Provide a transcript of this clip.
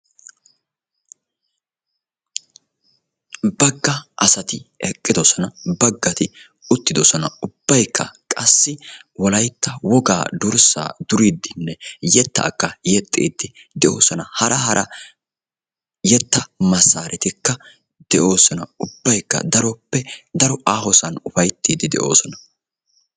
Bagga asati eqqidosona baggati uttidosona. Ubbaykka qassi wolayitta wogaa dursaa duriiddinne yetaakka yexxiiddi de"oosona. Hara hara yetta masaaretikka de"oosona. Ubbayikka daroppe daro aahosan upayittiiddi de"oosona.